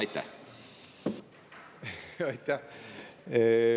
Aitäh!